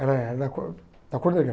Era da cor da cor negra.